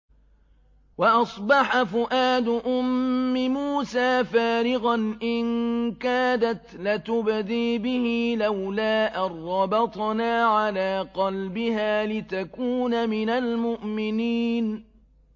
وَأَصْبَحَ فُؤَادُ أُمِّ مُوسَىٰ فَارِغًا ۖ إِن كَادَتْ لَتُبْدِي بِهِ لَوْلَا أَن رَّبَطْنَا عَلَىٰ قَلْبِهَا لِتَكُونَ مِنَ الْمُؤْمِنِينَ